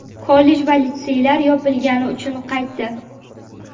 kollej va litseylar yopilgani uchun qaytdi.